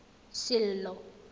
sello